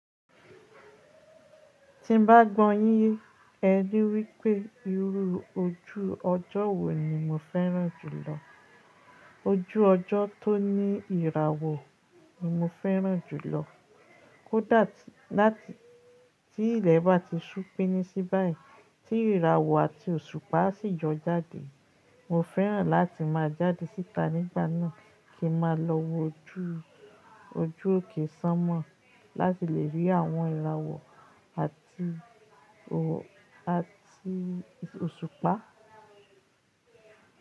Tí bá gbọ́ yin ẹ ní wípé irú ojú ọjọ́ wo ni mo fẹ́ràn jùlọ, ojú ọjọ́ tó ní ìràwọ̀ ni mo fẹ́ràn jùlọ. Kódà tí, láti tí ilẹ̀ bá ti sú pín sí báyìí, tí ìràwọ̀ àti òṣùpá á sì jọ jáde. Mo fẹ́ràn láti máa jáde síta nígbà náà kí n máa lọ wo ojú, ojú òkè ṣánmọ̀ láti lè rí àwọn ìràwọ̀ àti ò, àti òṣùpá.